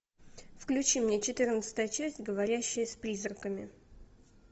включи мне четырнадцатая часть говорящая с призраками